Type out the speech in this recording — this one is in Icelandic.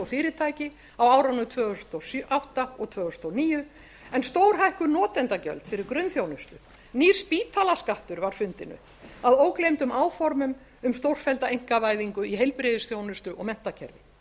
fyrirtæki á árunum tvö þúsund og átta og tvö þúsund og níu en stórhækkuð notendagjöld fyrir grunnþjónustu nýr spítalaskattur var fundinn upp að ógleymdum áformum um stórfellda einkavæðingu í heilbrigðisþjónustu og menntakerfi haustið tvö þúsund og